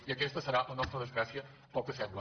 i aquesta serà la nostra desgràcia pel que sembla